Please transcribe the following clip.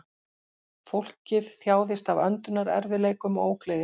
Fólkið þjáðist af öndunarerfiðleikum og ógleði